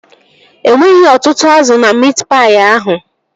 E nweghị ọtụtụ azụ na miit paị ahụ